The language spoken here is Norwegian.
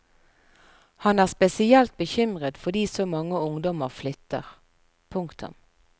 Han er spesielt bekymret fordi så mange ungdommer flytter. punktum